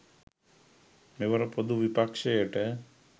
මෙවර ‍පොදු විපක්ෂයට